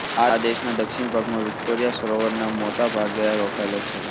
આ દેશના દક્ષિણ ભાગમાં વિકોટોરિયા સરોવરના મોતા ભાગે રોકેલો છે